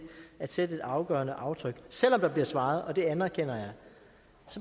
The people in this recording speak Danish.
at sætte et afgørende aftryk selv om der bliver svaret og det anerkender jeg